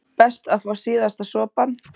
Best að fá síðasta sopann.